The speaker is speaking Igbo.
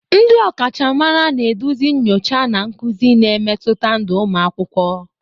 Ndị ọkachamara na-eduzi nyocha na nkuzi, na-emetụta ndụ ụmụ akwụkwọ.